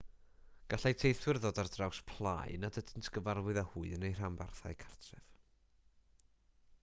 gallai teithwyr ddod ar draws plâu nad ydynt yn gyfarwydd â hwy yn eu rhanbarthau cartref